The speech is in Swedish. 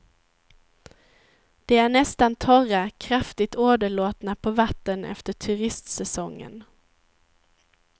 De är nästan torra, kraftigt åderlåtna på vatten efter turistsäsongen.